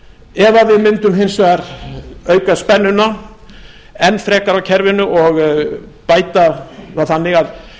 ef við mundum hins vegar auka spennuna enn frekar á kerfinu og bæta það þannig að